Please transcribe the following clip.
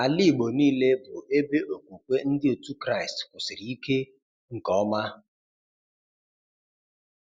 Ala igbo niile bụ ebe okwukwe ndị otu Kraist kwusịrị ike nke ọma